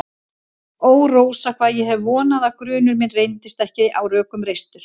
Ó, Rósa, hvað ég hef vonað að grunur minn reyndist ekki á rökum reistur.